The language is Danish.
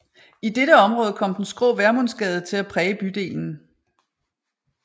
I dette område kom den skrå Vermundsgade til at præge bydelen